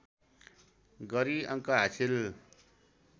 गरि अङ्क हासिल